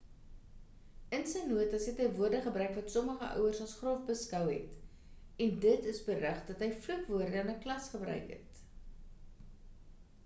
in sy notas het hy woorde gebruik wat sommige ouers as grof beskou het en dit is berig dat hy vloekwoorde in klas gebruik het